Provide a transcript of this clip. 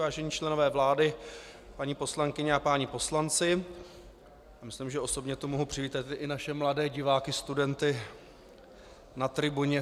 Vážení členové vlády, paní poslankyně a páni poslanci, myslím, že osobně tu mohu přivítat i naše mladé diváky, studenty na tribuně.